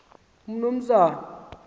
umnumzana